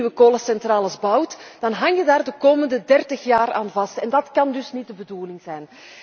Als je nu nieuwe kolencentrales bouwt dan hang je daar de komende 30 jaar aan vast en dat kan niet de bedoeling zijn.